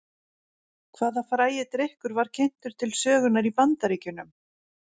Hvaða frægi drykkur var kynntur til sögunnar í Bandaríkjunum?